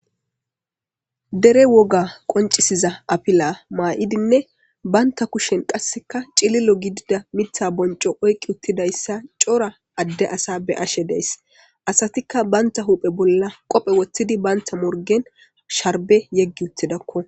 Dere Woga Konccisiza Afela M'idine Banta Kushen Qasika chililo Mitha Boncho Oyketidaysa Chora Ade Asa Be'ashe Days Asatika Banta hu'en Qobe Wothidine Banta Morgen Sharbe Yegi Wothidako